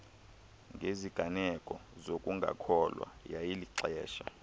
ngeziganeko zokungakholwa yayilixesha